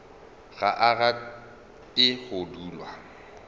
ga a rate go dulwa